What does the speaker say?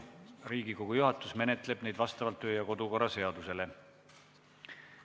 Riigikogu juhatus menetleb neid vastavalt kodu- ja töökorra seadusele.